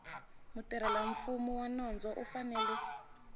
mutirhelamfumo wa nondzo u fanele